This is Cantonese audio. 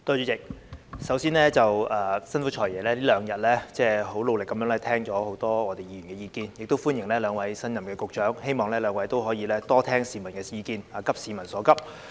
主席，首先，辛苦"財爺"這兩天很努力地聆聽很多議員的意見，也歡迎兩位新任局長，希望兩位局長可以多聽市民的意見，急市民所急。